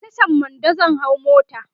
a Tashan Mando zan hau mota